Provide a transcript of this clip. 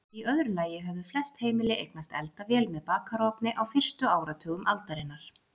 Í öðru lagi höfðu flest heimili eignast eldavél með bakarofni á fyrstu áratugum aldarinnar.